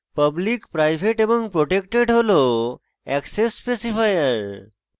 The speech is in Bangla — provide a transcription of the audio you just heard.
public private এবং protected হল অ্যাক্সেস specifier